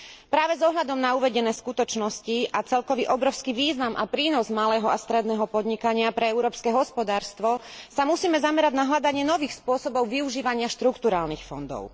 Práve s ohľadom na uvedené skutočnosti a celkový obrovský význam a prínos malého a stredného podnikania pre európske hospodárstvo sa musíme zamerať na hľadanie nových spôsobov využívania štrukturálnych fondov.